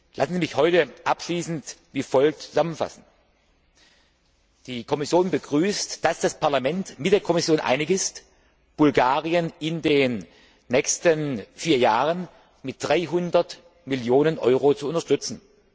Lassen Sie mich heute abschließend wie folgt zusammenfassen Die Kommission begrüßt, dass das Parlament mit der Kommission einig ist, Bulgarien in den nächsten vier Jahren mit 300 Millionen Euro zu unterstützen.